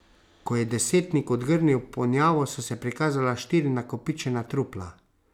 Ko je desetnik odgrnil ponjavo, so se prikazala štiri nakopičena trupla.